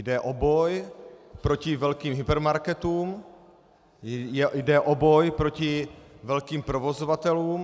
Jde o boj proti velkým hypermarketům, jde o boj proti velkým provozovatelům.